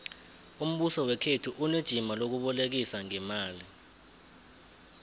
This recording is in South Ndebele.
umbuso wekhethu unejima lokubolekisa ngeemali